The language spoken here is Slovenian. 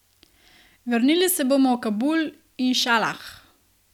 Vrnili se bomo v Kabul, inšalah.